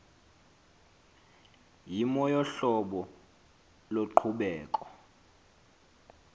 yimo yohlobo loqhubeko